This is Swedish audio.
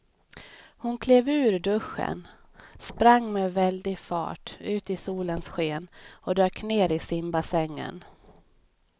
Hon klev ur duschen, sprang med väldig fart ut i solens sken och dök ner i simbassängen.